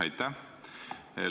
Aitäh!